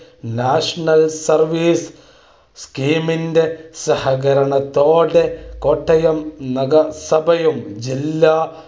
national service scheme ന്റെ സഹകരണത്തോടെ കോട്ടയം നഗരസഭയും ജില്ലാ